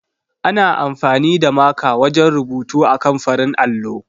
Ana amfani da maka wajen rubutu akan farin allo.